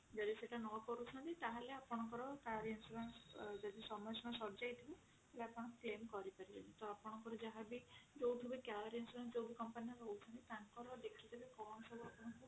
ଯଦି ସେଟା ନ କରୁଛନ୍ତି ତାହେଲେ ଆପଣଙ୍କ କର insurance ର ସମୟ ସୀମା ସରିଯାଇଥିବ ତ ଆପଣ claim କରିପାରିବେନି ତ ଆପଣଙ୍କ ଯାହା ବି ଯୋଉଠୁ ବି car insurance ଯୋଉ company ର ନୋଉଛି ତାଙ୍କର ଦେଖିଦେବେ କଣ ସବୁ ଆପଣଙ୍କ ର